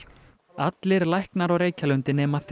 allir læknar á Reykjalundi nema þrír